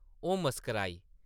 ओह् मुस्कराई ।